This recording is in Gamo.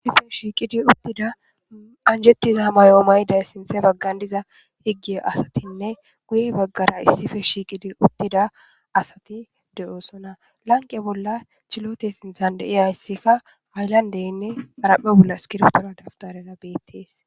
issife shiiqidi uttida anjettiza mayo mayday sinthe baggan diza higge asatinne guye baggara issife shiiqidi uttida asati de7oosona lanqe bolla chilote sinthan deiyayssikka haayllandeynne araphe bolla iskirtora dabtarera beettees